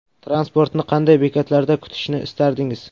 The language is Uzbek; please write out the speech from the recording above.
Transportni qanday bekatlarda kutishni istardingiz?